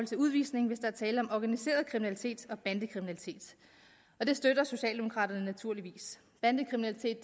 til udvisning hvis der er tale om organiseret kriminalitet og bandekriminalitet det støtter socialdemokraterne naturligvis bandekriminalitet